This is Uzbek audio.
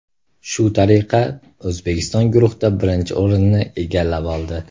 Shu tariqa, O‘zbekiston guruhda birinchi o‘rinni egallab oldi.